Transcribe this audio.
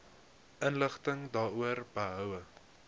inligting daaroor behoue